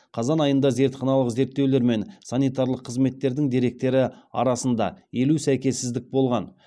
қазан айында зертханалық зерттеулер мен санитарлық қызметтердің деректері арасында елу сәйкессіздік болған